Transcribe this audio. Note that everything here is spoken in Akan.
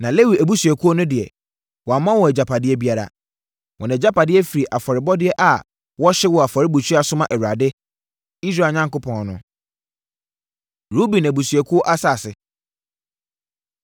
Na Lewi abusuakuo no deɛ, wamma wɔn agyapadeɛ biara. Wɔn agyapadeɛ firi afɔrebɔdeɛ a wɔhye wɔ afɔrebukyia so ma Awurade, Israel Onyankopɔn no. Ruben Abusuakuo Asase